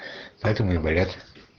поэтому и болят